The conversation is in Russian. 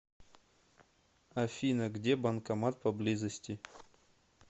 афина где банкомат поблизости